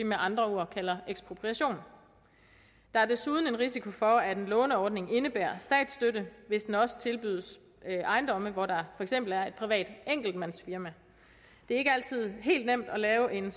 med andre ord kalder ekspropriation der er desuden en risiko for at en låneordning indebærer statsstøtte hvis den også tilbydes ejendomme hvor der for eksempel er et privat enkeltmandsfirma det er ikke altid helt nemt at lave en